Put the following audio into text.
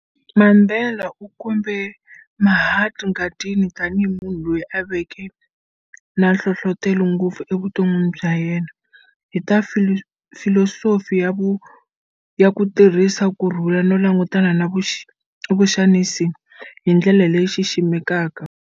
Mandela u kombe Mahatma Gandhi tanihi munhu loyi a veke na nhlohlotelo ngopfu evutonwini bya yena, hi ta Filosofi ya ku tirhisa kurhula no langutana na vuxanisi hi ndlela leyi xiximekaka.